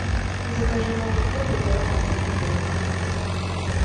закажи молоко полтора процента жирности